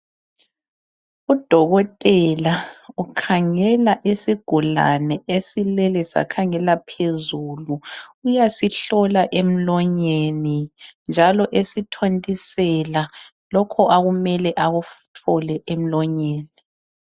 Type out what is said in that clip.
udokotela ukhangela isigulane esilele sakhangela phezulu uyasihlola emlonyeni njalo esithontisela lokhu akumele akuthole emlonyeni